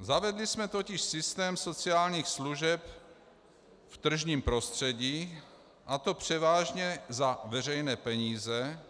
Zavedli jsme totiž systém sociálních služeb v tržním prostředí, a to převážně za veřejné peníze,